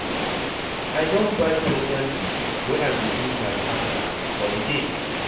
I don buy special gift wey I go give my partner for di date.